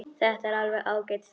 Þetta er alveg ágæt stelpa.